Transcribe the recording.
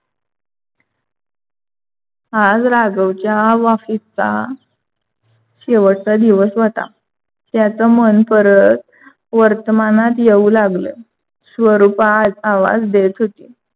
आज राघवच्या office चा शेवटचा दिवस होता. त्याच मन परत वर्तमानात येऊ लागल स्वरूपा आवाज देत होती.